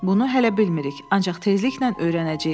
Bunu hələ bilmirik, ancaq tezliklə öyrənəcəyik.